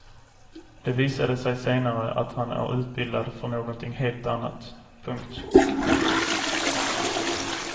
Det visade sig senare att han är utbildad för någonting helt annat. punkt